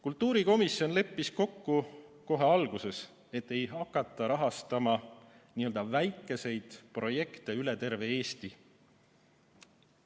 Kultuurikomisjon leppis kohe alguses kokku, et ei hakata rahastama väikeseid projekte üle terve Eesti.